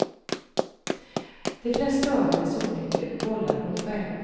De flesta av hennes olyckor vållar hon själv.